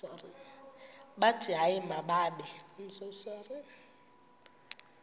bathi hayi mababe